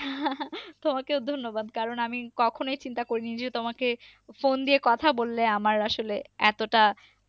তোমাকেও ধন্যবাদ। কারণ আমি কখনই চিন্তা করিনি যে তোমাকে ফোন দিয়ে কথা বললে আমার আসলে এতটা,